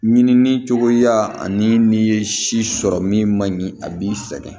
Ɲinini cogoya ani n'i ye si sɔrɔ min man ɲi a b'i sɛgɛn